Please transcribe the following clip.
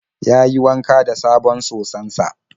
Yayi wanka da sabon soson sa.